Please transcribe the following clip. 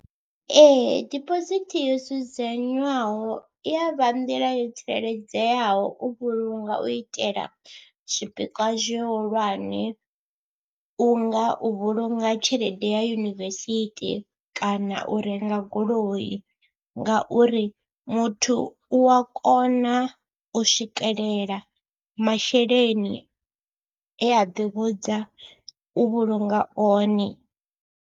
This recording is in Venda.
Ee dibosithi yo dzudzanywaho i ya vha nḓila yo tsireledzeaho u vhulunga u itela zwipikwa zwihulwane, u nga u vhulunga tshelede ya yunivesithi kana u renga goloi ngauri muthu u a kona u swikelela masheleni e a ḓivhudza u vhulunga one.